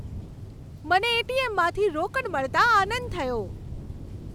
મને એ.ટી.એમ.માંથી રોકડ મળતાં આનંદ થયો.